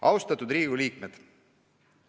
Austatud Riigikogu liikmed!